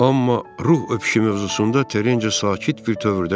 Amma ruh öpüşü mövzusunda Terinci sakit bir təvördə dedi.